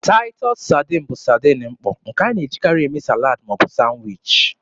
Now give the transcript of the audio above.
Taịtọs saadin bụ saadin mkpọ, nke a na-ejikarị eme salad ma ọ bụ sanwichi.